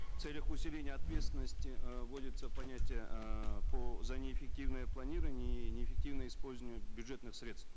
в целях усиления ответственности э вводится понятие эээ по за неэффективное планирование и неэффективное использование бюджетных средств